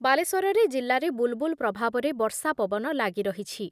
ବାଲେଶ୍ଵରରେ ଜିଲ୍ଲାରେ ବୁଲ୍ ବୁଲ୍ ପ୍ରଭାବରେ ବର୍ଷା ପବନ ଲାଗିରହିଛି।